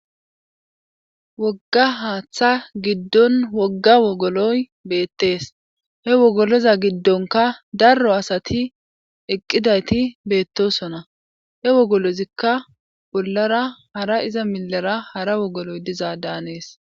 Wogga haaththa giddon wogga wogoloy beettees he wogoloza giddonka darro asati eqqidayti beettosona he wogolozikka bollara hara iza milara hara wogoloy dizaa daanees.